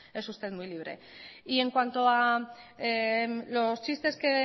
pues es usted muy libre en cuanto a los chistes que